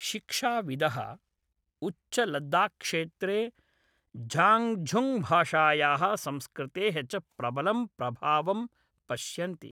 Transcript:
शिक्षाविदः उच्चलद्दाख्क्षेत्रे झाङ्गझुङ्गभाषायाः संस्कृतेः च प्रबलं प्रभावं पश्यन्ति।